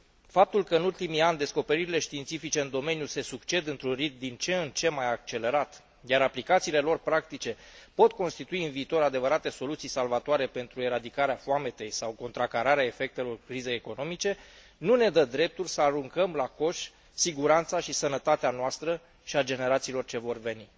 Faptul că în ultimii ani descoperirile științifice în domeniu se succed într un ritm din ce în ce mai accelerat, iar aplicațiile lor practice pot constitui în viitor adevărate soluții salvatoare pentru eradicarea foametei sau contracararea efectelor crizei economice, nu ne dă dreptul să aruncăm la coș siguranța și sănătatea noastră și a generațiilor ce vor veni.